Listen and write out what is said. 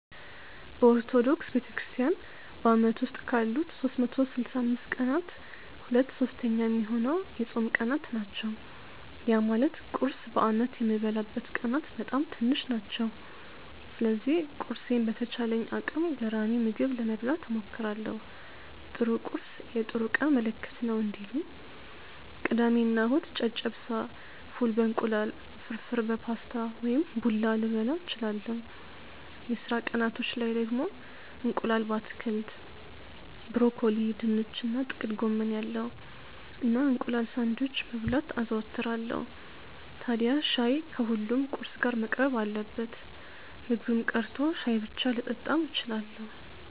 በኦርቶዶክስ ቤተክርስትያን በአመት ውስጥ ካሉት 365 ቀናት ሁለት ሶስተኛ ሚሆነው የጾም ቀናት ናቸው። ያ ማለት ቁርስ በአመት የምበላበት ቀናት በጣም ትንሽ ናቸው። ስለዚህ ቁርሴን በተቻለኝ አቅም ገራሚ ምግብ ለመብላት እሞክራለው 'ጥሩ ቁርስ የጥሩ ቀን ምልክት ነው' እንዲሉ። ቅዳሜ እና እሁድ ጨጨብሳ፣ ፉል በ እንቁላል፣ ፍርፍር በፓስታ ወይም ቡላ ልበላ እችላለው። የስራ ቀናቶች ላይ ደግሞ እንቁላል በአትክልት (ብሮኮሊ፣ ድንች እና ጥቅል ጎመን ያለው) እና እንቁላል ሳንድዊች መብላት አዘወትራለው። ታድያ ሻይ ከሁሉም ቁርስ ጋር መቅረብ አለበት። ምግብም ቀርቶ ሻይ ብቻ ልጠጣም እችላለው።